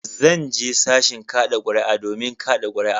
Zan je sashin kada kuri'a domin kada kuri'a.